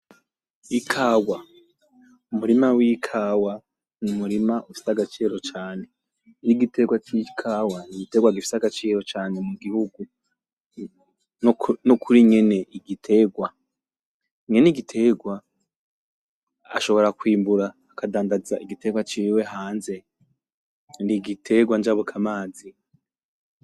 Ikawa. Umurima w’ikawa n’umurima ufise agaciro cane n’igitegwa c’ikawa n’igitegwa gifise agaciro cane mu gihugu nokuri nyen’igitegwa. Nyen’igitegwa ashobora kw’imbura akadandaza igitegwa ciwe hanze n’igitegwa njabuka mazi.